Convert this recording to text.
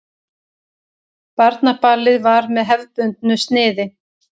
Barnaballið var með hefðbundnu sniði.